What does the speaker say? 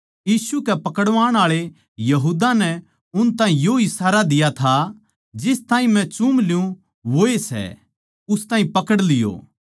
यीशु कै पकड़वाण आळे यहूदा नै उन ताहीं यो इशारा दिया था जिस ताहीं मै चूम ल्युँ वोए सै उस ताहीं पकड़ लियो